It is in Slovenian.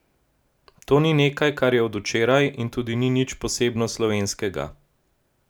To ni nekaj, kar je od včeraj, in tudi ni nič posebno slovenskega.